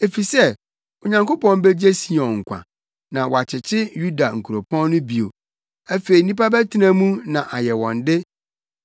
efisɛ Onyankopɔn begye Sion nkwa na wakyekye Yuda nkuropɔn no bio. Afei nnipa bɛtena mu na ayɛ wɔn de;